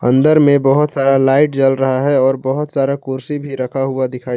अंदर में बहोत सारा लाइट जल रहा है और बहोत सारा कुर्सी भी रखा हुआ दिखाई--